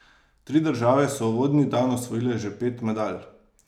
Tri države so uvodni dan osvojile že pet medalj.